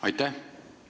Aitäh!